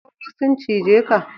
Tsoro sun cije ka?